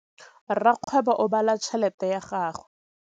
Rakgwêbô o bala tšheletê ya gagwe.